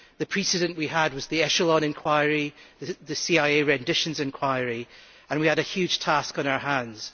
The precedent we had was the Echelon inquiry and the CIA renditions inquiry, and we had a huge task on our hands.